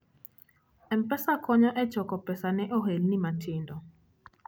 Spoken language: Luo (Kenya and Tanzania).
M-Pesa konyo e choko pesa ne ohelni matindo.